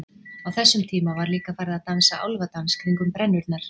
Á þessum tíma var líka farið að dansa álfadans kringum brennurnar.